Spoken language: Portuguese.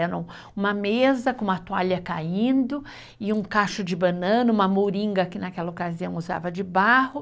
Era um, uma mesa com uma toalha caindo e um cacho de banana, uma moringa, que naquela ocasião usava de barro.